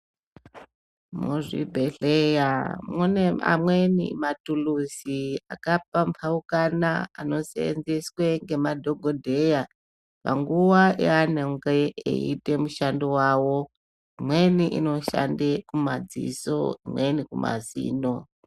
Muzvi bhedhleya mune ma mweni matuluzi aka pambaukana ano senzeswe ngema dhokodheya panguva yanonge eyi ite mushando wawo imweni inoshande mu madziso imweni kuma zino.